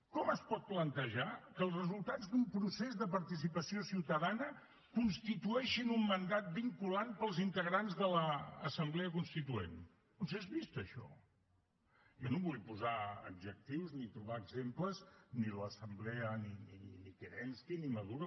com es pot plantejar que els resultats d’un procés de participació ciutadana constitueixin un mandat vinculant per als integrants de l’assemblea constituent on s’és vist això jo no hi vull posar adjectius ni trobar exemples ni en l’assemblea ni kérenski ni maduro